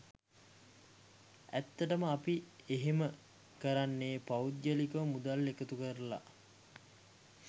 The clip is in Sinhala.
ඇත්තටම අපි එහෙම කරන්නෙ පෞද්ගලිකව මුදල් එකතු කරලා.